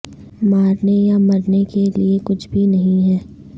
مارنے یا مرنے کے لئے کچھ بھی نہیں ہے